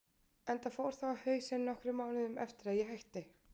Enda fór það á hausinn nokkrum mánuðum eftir að ég hætti.